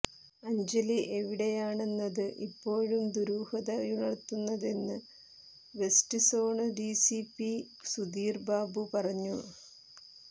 അഞ്ജലി എവിടെയാണെന്നത് ഇപ്പോഴും ദുരൂഹതയുണര്ത്തുന്നതെന്ന് വെസ്റ്റ് സോണ് ഡിസിപി സുധീര്ബാബു പറഞ്ഞു